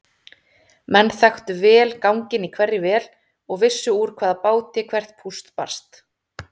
Menn þekktu vel ganginn í hverri vél og vissu úr hvaða báti hvert púst barst.